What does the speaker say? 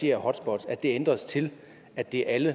her hotspots ændres til at det er alle